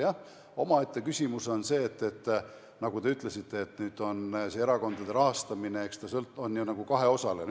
Jah, omaette küsimus on see, mille kohta te ütlesite, et nüüd on erakondade rahastamine nagu kaheosaline.